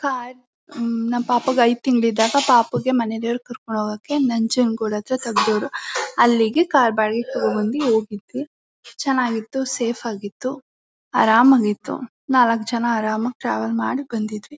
Car ಹ್ಮ್ಮ್ ನಮ್ ಪಾಪುಗೆ ಐದ್ ತಿಂಗ್ಳು ಇದ್ದಾಗ ಪಾಪುಗೆ ಮನೆ ದೇವ್ರುಗ್ ಕರ್ಕೊಂಡ್ ಹೋಗಕ್ಕೆ ನಂಜನ್ ಗುಡ್ ಹತ್ರ ತಗ್ಡಾವರು ಅಲ್ಲಿಗೆ ಕಾರ್ ಬಾವಿಗ್ ತೊಗೊಂಡ್ ಬಂದಿ ಹೋಗಿದ್ವಿ ಚನ್ನಾಗಿತ್ತು ಸೇಫ್ ಆಗಿತ್ತು ಆರಾಮಾಗಿತ್ತು ನಾಲಕ್ ಜನ ಆರಾಮಾಗಿ ಟ್ರಾವೆಲ್ ಮಾಡಿ ಬಂದಿದ್ವಿ.